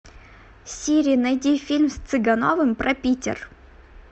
сири найди фильм с цыгановым про питер